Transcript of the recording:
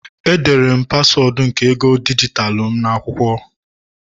Edere m paswọọdụ nke ego dijitalụ m n'akwụkwọ